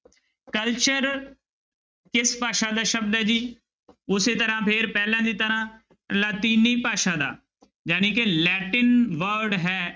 Culture ਕਿਸ ਭਾਸ਼ਾ ਦਾ ਸ਼ਬਦ ਹੈ ਜੀ ਉਸੇ ਤਰ੍ਹਾਂ ਫਿਰ ਪਹਿਲਾਂ ਦੀ ਤਰ੍ਹਾਂ ਲਾਤੀਨੀ ਭਾਸ਼ਾ ਦਾ ਜਾਣੀ ਕਿ ਲੈਟਿਨ word ਹੈ।